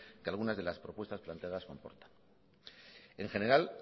que algunas de las propuestas planteadas en general